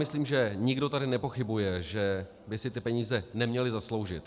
Myslím, že nikdo tady nepochybuje, že by si ty peníze neměli zasloužit.